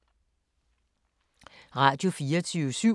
Radio24syv